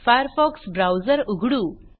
Firefox browser उघडू